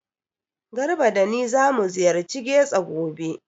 Garba da ni zamu ziyarci Getso gobe.